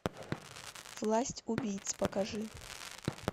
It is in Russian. власть убийц покажи